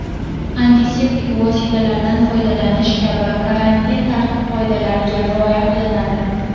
antiseptik vositalardan foydalanish kabi karantin tartib-qoidalariga rioya qilinadi.